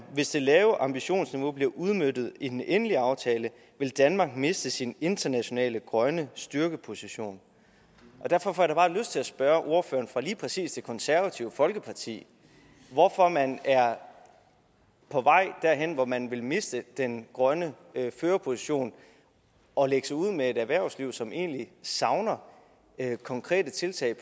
hvis det lave ambitionsniveau bliver udmøntet i den endelige aftale vil danmark miste sin internationale grønne styrkeposition derfor får jeg da lyst til at spørge ordføreren fra lige præcis det konservative folkeparti hvorfor man er på vej derhen hvor man vil miste den grønne førerposition og lægge sig ud med et erhvervsliv som egentlig savner konkrete tiltag